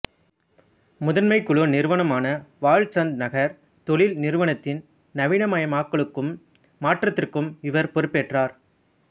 முதன்மைக் குழு நிறுவனமான வால்ச்சந்த்நகர் தொழில் நிறுவனத்தின் நவீனமயமாக்கலுக்கும் மாற்றத்திற்கும் இவர் பொறுப்பேற்றார்